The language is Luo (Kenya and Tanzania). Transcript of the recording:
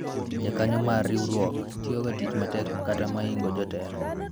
jokanyo mar riwruok tiyo ga tich matek kata moingo jotelo